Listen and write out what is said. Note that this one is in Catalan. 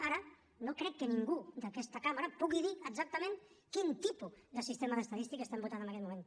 ara no crec que ningú d’aquesta cambra pugui dir exactament quin tipus de sistema d’estadística estem votant en aquest moment